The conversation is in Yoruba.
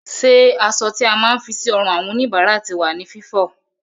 Ṣé aṣọ tí a máa ń fi sí ọrùn àwọn òníbára ti wà ní Fífọ?